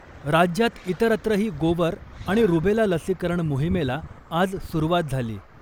राज्यात इतरत्रही गोवर आणि रुबेला लसीकरण मोहिमेला आज सुरूवात झाली .